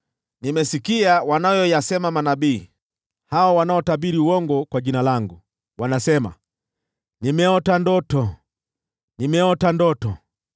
“Nimesikia wanayoyasema manabii, hao wanaotabiri uongo kwa jina langu. Wanasema, ‘Nimeota ndoto! Nimeota ndoto!’